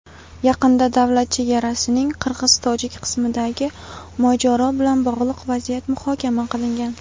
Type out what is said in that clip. yaqinda davlat chegarasining qirg‘iz-tojik qismidagi mojaro bilan bog‘liq vaziyat muhokama qilingan.